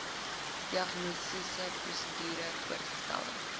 diagnostiese prosedure voorgestelde